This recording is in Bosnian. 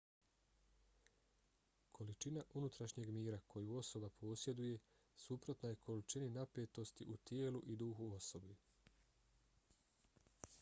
količina unutrašnjeg mira koju osoba posjeduje suprotna je količini napetosti u tijelu i duhu osobe